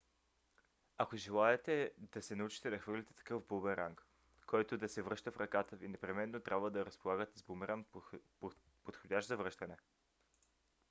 ако желаете да се научите да хвърляте такъв бумеранг който да се връща в ръката ви непременно трябва да разполагате с бумеранг подходящ за връщане